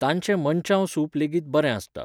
तांचे मनचाव सूप लेगीत बरें आसता.